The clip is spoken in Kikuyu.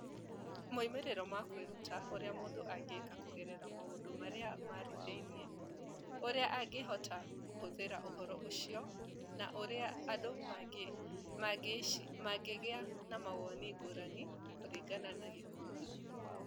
Moimĩrĩro ma kwĩruta, ũrĩa mũndũ angĩka kũgerera maũndũ marĩa marĩ thĩinĩ, ũrĩa angĩhota kũhũthĩra ũhoro ũcio, na ũrĩa andũ mangĩgĩa na mawoni ngũrani kũringana na gĩkundi.